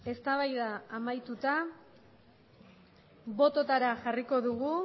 eztabaida amaituta bototara jarriko dugu